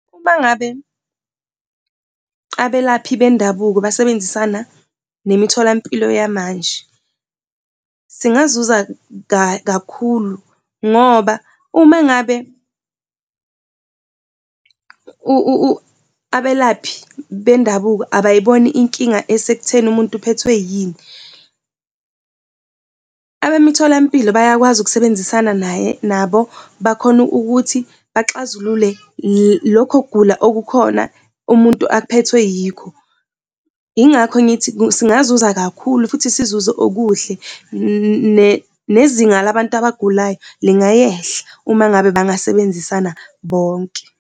Uma ngabe abelaphi bendabuko basebenzisana nemitholampilo yamanje, singazuza kakhulu ngoba uma ngabe abelaphi bendabuko abayiboni inkinga esekutheni umuntu uphethwe yini, abemitholampilo bayakwazi ukusebenzisana naye, nabo bakhone ukuthi baxazulule lokho kugula okukhona umuntu aphethwe yikho. Yingakho ngithi singazuza kakhulu futhi sizuze okuhle nezinga labantu abagulayo lingayehla uma ngabe bangasebenzisana bonke.